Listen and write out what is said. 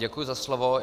Děkuji za slovo.